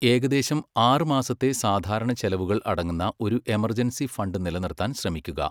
ഏകദേശം ആറ് മാസത്തെ സാധാരണ ചെലവുകൾ അടങ്ങുന്ന ഒരു എമർജൻസി ഫണ്ട് നിലനിർത്താൻ ശ്രമിക്കുക.